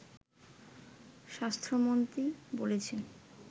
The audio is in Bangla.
স্বাস্থ্যমন্ত্রী বলেছেন